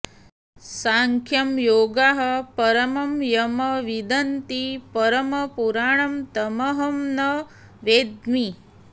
सांख्यं योगाः परमं यं विदन्ति परं पुराणं तमहं न वेद्मि